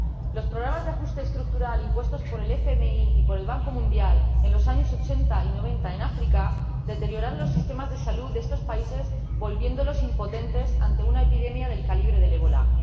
Los programas de ajuste estructural, impuestos por el FMI y por el Banco Mundial en los años 80 y 90 en África, deterioraron los sistemas de salud de estos países, volviéndolos impotentes ante una epidemia del calibre del ébola.